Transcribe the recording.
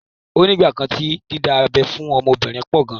Ó ní ìgbà kan tí dídá abẹ́ fún ọmọbìnrin pọ̀ gan.